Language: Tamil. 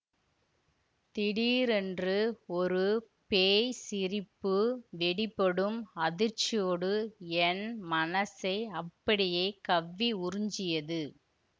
திடீரென்று ஒரு பேய் சிரிப்பு வெடிபடும் அதிர்ச்சியோடு என் மனசை அப்படியே கவ்வி உறிஞ்சியது